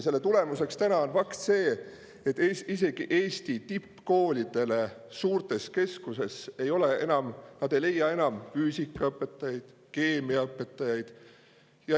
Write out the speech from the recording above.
Selle tulemuseks täna on see, et isegi Eesti tippkoolid suurtes keskustes ei leia enam füüsikaõpetajaid, keemiaõpetajaid.